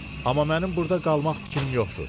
Amma mənim burda qalmaq fikrim yoxdur.